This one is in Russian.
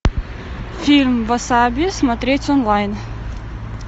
фильм васаби смотреть онлайн